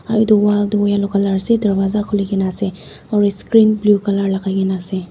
aro etu wall toh yellow yellow ase darwaza khuli kena ase aro screen blue colour lakai kena ase.